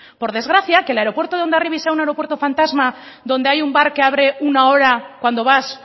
por desgracia que el aeropuerto de hondarribia sea un aeropuerto fantasma donde hay un bar que abre una hora cuando vas